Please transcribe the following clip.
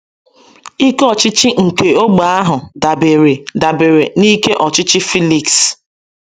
Ike ọchịchị nke ógbè ahụ dabeere dabeere n’ike ọchịchị Filiks